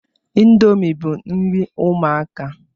Indomie bu nri ụmụaka